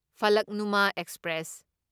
Falaknuma express